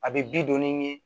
A bɛ bi donni ɲɛ